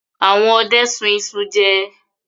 Àwọn ọdẹ sun iṣu jẹ.